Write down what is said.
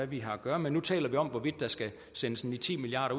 vi har at gøre med nu taler vi om hvorvidt der skal sendes ni ti milliard